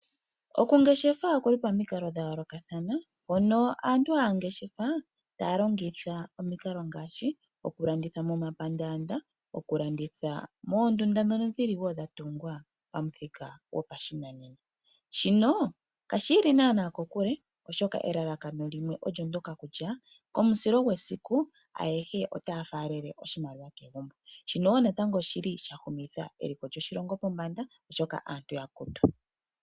Okungeshefa okuli pomikalo dhayoolokathana, mpono aantu haya ngeshefa taya longitha omikalo ngaashi okulanditha momapandanda, okulanditha moondunda dhono dhili woo dhatungwa pamuthika gopashinanena, shino ka shiili nana kokule oshoka elalakano limwe olyo ndyoka kutya, komusilo gwesiku ayehe otaya falele oshimaliwa kegumbo. Shino natango oshili shahumitha eliko lyoshilongo pombanda oshoka aantu yakutu.